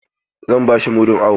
Zan ba shi mudun awo.